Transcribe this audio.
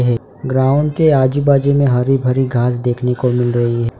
Ground के आजू बाजू में हरी भरी घास देखने को मिल रही है।